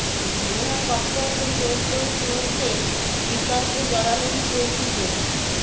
নেহা কক্করকে জোর করে চুমু খেয়ে বির্তকে জড়ালেন প্রতিযোগী